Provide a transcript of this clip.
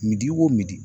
Midi o misi di